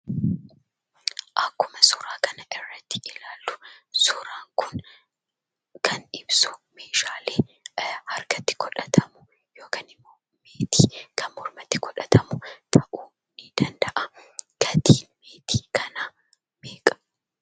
Akkuma suuraa kana irratti ilaallu suuraan kun kan ibsu meeshaalee harkatti godhatamu yookaan immoo meetii kan mormatti godhatamu, ta'uu ni danda'a. Gatiin meetii kanaa meeqa?